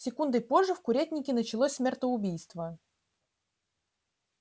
секундой позже в курятнике началось смертоубийство